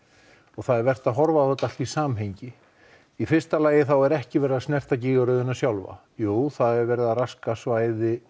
það er vert að horfa á þetta allt í samhengi í fyrsta lagi er ekki verið að snerta gígaröðina sjálfa jú það er verið að raska svæði